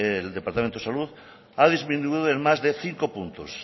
el departamento de salud ha disminuido en más de cinco puntos